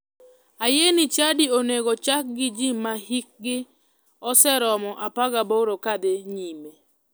Ayie ni chadi onego chak gi ji ma hikgi oseromo 18 kadhi nyime.